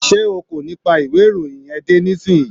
Sé o kò ní pa ìwé ìròyìn yẹn dé nísìnyí!